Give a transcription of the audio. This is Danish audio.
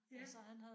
Ja